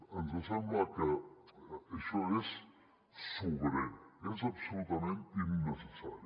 ens sembla que això és sobrer és absolutament innecessari